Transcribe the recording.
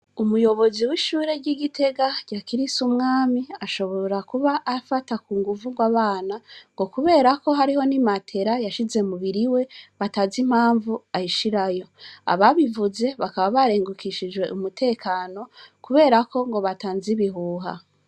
Umuyobozi w'ishure ry'igitega rya krise umwami ashobora kuba afata ku nguvugwa abana ngo kuberako hariho ni matera yashize mubiri we batazi impamvu ayishirayo ababivuze bakaba barengukishijwe umutekano kuberako ngo bata nz ibihuha.